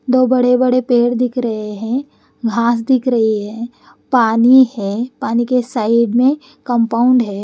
दो बड़े बड़े पेड़ दिख रहे हैं घास दिख रही है पानी है पानी के साइड में कंपाउंड है।